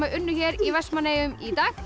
unnu hér í Vestmannaeyjum í dag